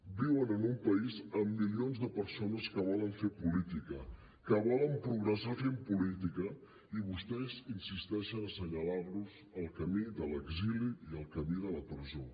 viuen en un país amb milions de persones que volen fer política que volen progressar fent política i vostès insisteixen a senyalar los el camí de l’exili i el camí de la presó